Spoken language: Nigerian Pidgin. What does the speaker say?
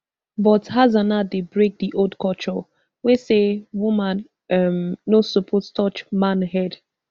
but hassana dey break di old culture wey say woman um no suppose touch man head